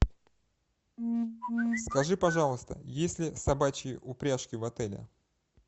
скажи пожалуйста есть ли собачьи упряжки в отеле